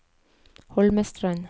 Holmestrand